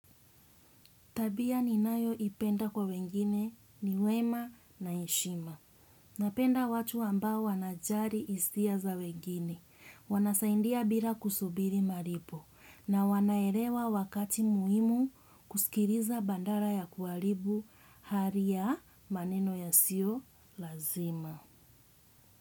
Tabia ninayo ipenda kwa wengine ni wema na eshima. Napenda watu ambao wanajali hisia za wengine. Wanasaidia bila kusubiri malipo. Na wanaelewa wakati muhimu kusikiliza badala ya kuaribu hari ya maneno yasio lazima.